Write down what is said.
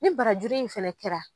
Ni barajuru in fɛnɛ kɛra.